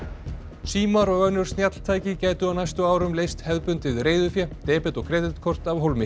símar og önnur snjalltæki gætu á næstu árum leyst hefðbundið reiðufé debet og kreditkort af hólmi